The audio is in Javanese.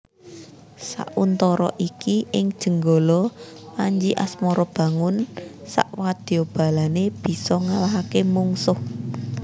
Sauntara iki ing Jenggala Panji Asmarabangun sakwadyabalané bisa ngalahaké mungsuh